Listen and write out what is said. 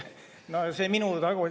Aitäh küsimuse eest!